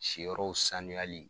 Siyɔrɔw sanuyali.